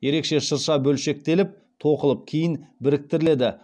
ерекше шырша бөлшектеліп тоқылып кейін біріктіріледі